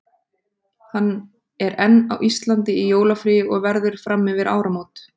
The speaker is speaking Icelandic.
Hann er enn á Íslandi í jólafríi og verður fram yfir áramót.